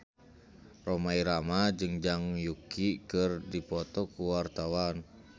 Rhoma Irama jeung Zhang Yuqi keur dipoto ku wartawan